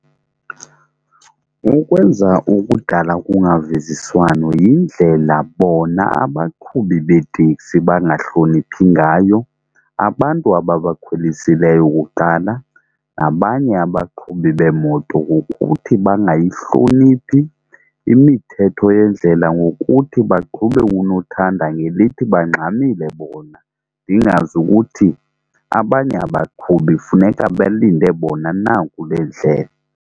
Ukwenza ukudala kungavisiswano yindlela bona abaqhubi beetekisi bangahloniphi ngayo abantu ababakhwelisileyo kuqala nabanye abaqhubi beemoto ngokuthi bangayihloniphi imithetho yendlela. Ngokuthi baqhube unothanda ngelithi bangxamile bona ndingazi ukuthi abanye abaqhubi funeka belinde bona na kule ndlela.